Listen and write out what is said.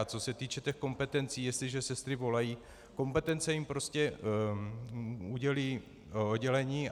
A co se týče těch kompetencí, jestliže sestry volají, kompetence jim prostě udělí oddělení.